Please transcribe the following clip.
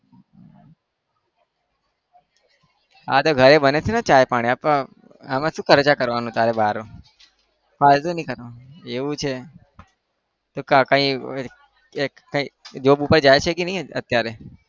હા તો ઘરે બને છે ને ચા પાણી આપણે આ માં શું ખર્ચા કરવાનું તારે બહાર? ફાલતુ નહિ કરવાનું એવું છે? તો કાકા એ એક કંઈક job પર જાય છે કે નહી અત્યારે?